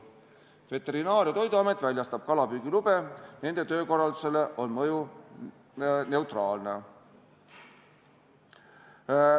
Veterinaar- ja Toiduamet väljastab kalapüügilube, nende töökorraldusele on mõju neutraalne.